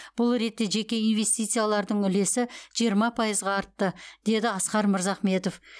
бұл ретте жеке инвестициялардың үлесі жиырма пайызға артты деді асқар мырзахметов